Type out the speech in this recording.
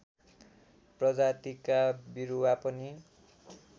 प्रजातिका बिरुवा पनि